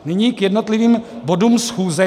Nyní k jednotlivých bodům schůze.